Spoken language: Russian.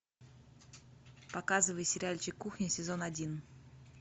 показывай сериальчик кухня сезон один